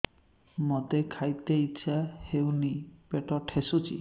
ମୋତେ ଖାଇତେ ଇଚ୍ଛା ହଉନି ପେଟ ଠେସୁଛି